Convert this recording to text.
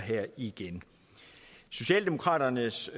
igen socialdemokraternes